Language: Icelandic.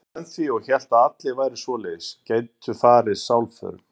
Hún var vön því og hélt að allir væru svoleiðis, gætu farið sálförum.